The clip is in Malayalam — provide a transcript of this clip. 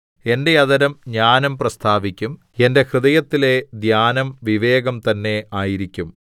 എന്റെ അധരം ജ്ഞാനം പ്രസ്താവിക്കും എന്റെ ഹൃദയത്തിലെ ധ്യാനം വിവേകം തന്നെ ആയിരിക്കും